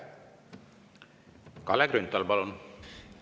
Kalle Grünthal, palun!